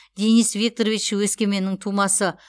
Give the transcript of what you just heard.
денис викторович өскеменнің тумасы